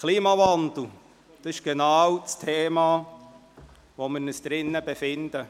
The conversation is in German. Zum Klimawandel – in genau diesem Thema befinden wir uns: